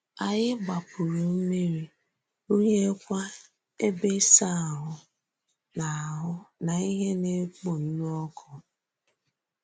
Ányị gbàpùrù m̀mírí, rụ̀nyèkwà èbè ísà àhụ́ na àhụ́ na íhè na-ekpò ǹlù òkụ́.